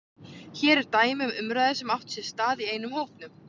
Hér er dæmi um umræðu sem átti sér stað í einum hópnum